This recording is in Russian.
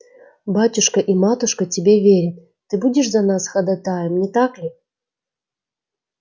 батюшка и матушка тебе верят ты будешь за нас ходатаем не так ли